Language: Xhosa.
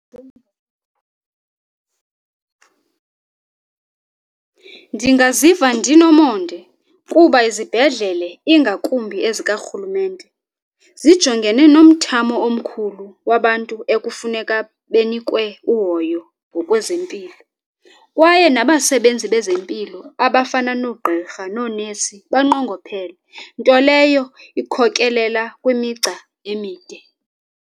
Ndingaziva ndinomonde kuba izibhedlele ingakumbi ezikarhulumente zijongene nomthamo omkhulu wabantu ekufuneka benikwe uhoyo ngokwezempilo kwaye nabasebenzi bezempilo abafana noogqirha noonesi banqongophele nto leyo ikhokelela kwimigca emide.